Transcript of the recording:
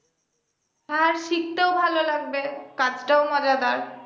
আর শিখতেও ভালো লাগবে কাজটাও মজাদার